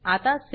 आता सावे